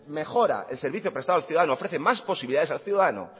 mejora el servicio prestado al ciudadano ofrece más posibilidades al ciudadano